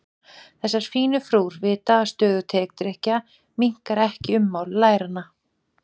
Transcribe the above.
Þessar fínu frúr vita að stöðug tedrykkja minnkar ekki ummál læranna.